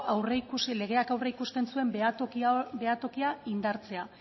aurreikusi legeak aurreikusten zuen behatokia indartzea